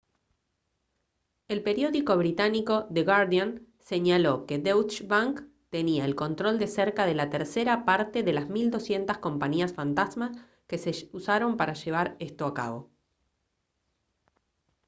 el periódico británico the guardian señaló que deutsche bank tenía el control de cerca de la tercera parte de las 1200 compañías fantasma que se usaron para llevar esto a cabo